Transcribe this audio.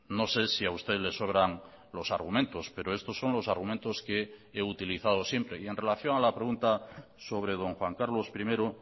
no sé si a usted le sobran los argumentos pero estos son los argumentos que he utilizado siempre y en relación a la pregunta sobre don juan carlos primero